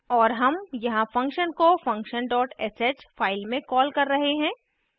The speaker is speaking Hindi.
और हम यहाँ function को function dot sh file में कॉल कर रहे हैं